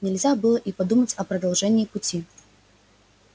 нельзя было и подумать о продолжении пути